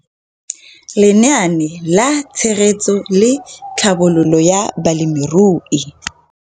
Lenaane la Tshegetso le Tlhabololo ya Balemirui.